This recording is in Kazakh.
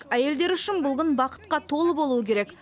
әйелдер үшін бұл күн бақытқа толы болуы керек